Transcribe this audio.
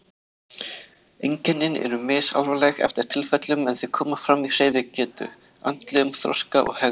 Einkennin eru misalvarleg eftir tilfellum en þau koma fram í hreyfigetu, andlegum þroska og hegðun.